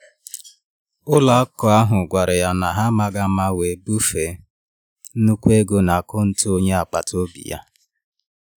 Ụlọakụ ahụ gwara ya na ha n’amaghi ama we bufe nnukwu ego n’akaụntụ onye agbata obi ya.